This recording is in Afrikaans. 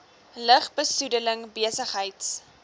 lug besoedeling besigheids